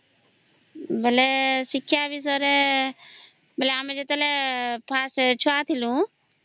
ଶିକ୍ଷା ବିଷୟରେ ଆମେ ଯେତେବେଳେ ଫାର୍ଷ୍ଟ ଛୁଆ ଥିଲୁ ହଁ